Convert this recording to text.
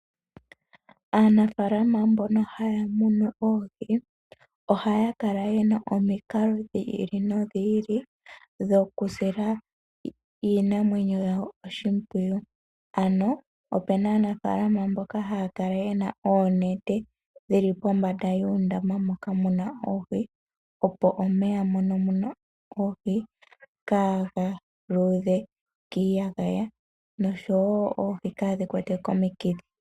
Aanafaalama mbono haya munu oohi ohaya kala ye na omikalo dhi ili nodhi ili dhokusila iinamwenyo yawo oshimpwiyu ano opu na aanafaalama mboka haya kala ye na oonete dhili pombanda yuundama moka mu na oohi opo omeya moka mu na oohi kaagaluudhe kiiyagaya nosho wo oohi kaadhi kwatwe komikithi.